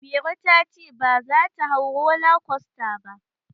Mairo ta ce baza ta hau roller coaster ba.